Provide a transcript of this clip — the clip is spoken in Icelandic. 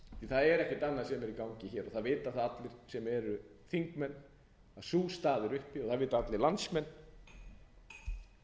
það er ekkert annað sem er í gangi hér og það vita það allir sem eru þingmenn að sú staða er uppi og það vita allir landsmenn að